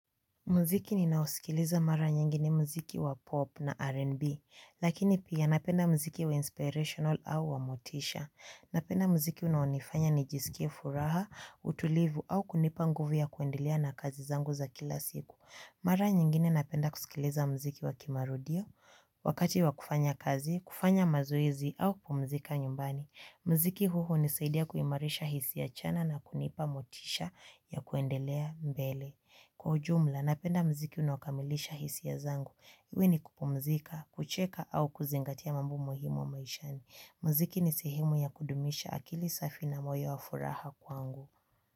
Muziki ninaosikiliza mara nyingi ni muziki wa pop na r n b lakini pia napenda muziki wa inspirations au motisha napenda muziki unaonifanya nijisikie furaha utulivu au nguvu za kuendelea na kazi zangu za kila siku. Mara nyingine napenda kusikiliza muziki wa kimarudio wakati wa kufanya kazi, kufanya mazoezi au kupumzika nyumbani. Muziki huu hunisaidia kuimarisha hisi ya chanya na kunipa motisha ya kuendelea mbele. Kwa ujumla, napenda mziki unaokamilisha hisia zangu. Iwe ni kupumzika, kucheka au kuzingatia mambo muhimu maishani. Muziki ni sehimu ya kudumisha akili safi na moyo wa furaha kwangu.